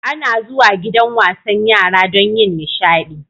Ana zuwa gidan wasan yara don yin nishaɗi.